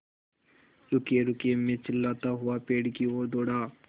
रुकिएरुकिए मैं चिल्लाता हुआ पेड़ की ओर दौड़ा